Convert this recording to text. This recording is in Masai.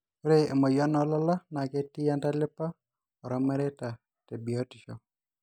ore emoyian oolala naa ketii entalipa ormareita te biotisho